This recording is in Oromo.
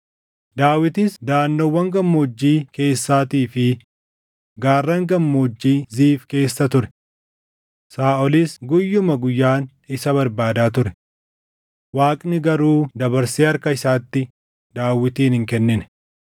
Daawitis daʼannoowwan gammoojjii keessaatii fi gaarran Gammoojjii Ziif keessa ture. Saaʼolis guyyuma guyyaan isa barbaadaa ture; Waaqni garuu dabarsee harka isaatti Daawitin hin kennine.